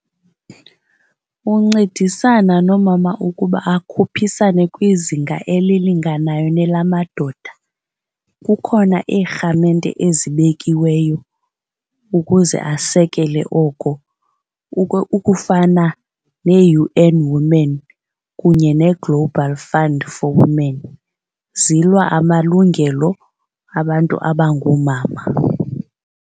Uncedisana noomama ukuba akhuphisane kwizinga elilinganayo nelamadoda, kukhona iirhamente ezibekiweyo ukuze asekele. Oko ukufana nee-U_N Women kunye nee-Global Fund for Women. Zilwa amalungelo abantu abangoomama.